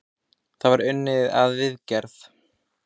Þarna er unnið að viðgerð.